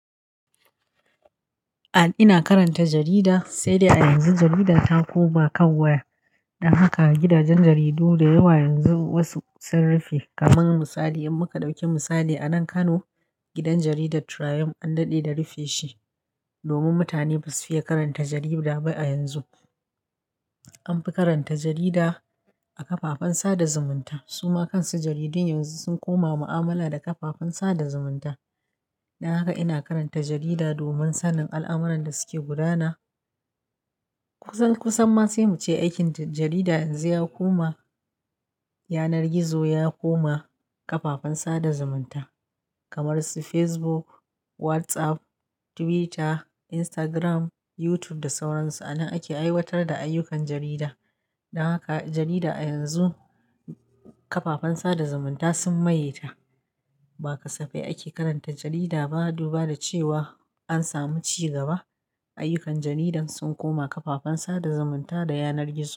A ina karanta jarida, sai dai a yanzu jarida ta koma kan waya. Dan haka gidajen jaridu da yawa yanzu wasu sun rufe. Kamar misali in muka ɗauki misali anan Kano gidan jaridar Triumph an daɗe da rufe shi. Domin mutane basu fiye karanta jarida ba a yanzu. An fi karanta jarida a kafafen sada zumunta. Su ma kansu jaridun yanzu sun koma mu'amala da kafafen sada zumunta. Dan haka ina karanta jarida domin sanin al'amuran da suke gudana. Kusan kusan ma sai mu ce aikin jarida yanzu ya koma yanar gizo, ya koma kafafen sada zumunta kamar su Facebook, WhatsApp, Twitter, Instagram, YouTube da sauran su. Anan ake aiwatar da ayyukan jarida. Don haka jarida a yanzu kafafen sada zumunta sun maye ta. Ba kasafai ake karanta jarida ba, duba da cewa an samu ci gaba. Ayyukan jarida sun koma kafafen sada zumunta da yanar gizo.